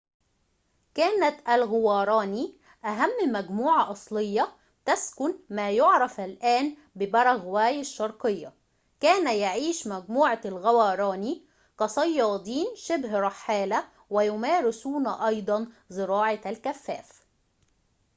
كانت الغواراني أهم مجموعة أصلية تسكن ما يعرف الآن بباراغواي الشرقية كان يعيش مجموعة الغواراني كصيادين شبه رحالة ويمارسون أيضاً زراعةَ الكفاف